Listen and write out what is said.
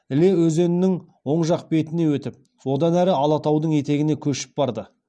іле өзенінің оң жақ бетіне өтіп одан әрі алатаудың етегіне көшіп барды